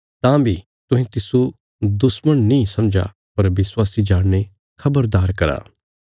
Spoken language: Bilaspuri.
तां बी तुहें तिस्सो दुश्मण नीं समझा पर विश्वासी जाणीने खबरदार करा